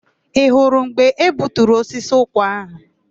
Ị hụrụ mgbe e gbuturu osisi ụkwa áhụ̀?